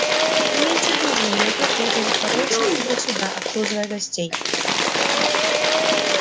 не меньше дюжины негров бегали с подносами туда-сюда обслуживая гостей